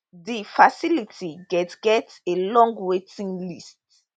di facility get get a long waiting list